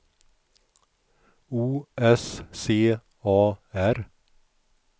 O S C A R